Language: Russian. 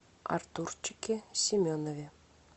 артурчике семенове